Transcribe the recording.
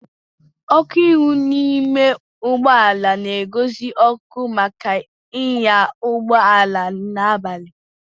ọkụ ihu n'ime ụgbọ ala na-egosi ọkụ maka ịnya ụgbọ ala n'abali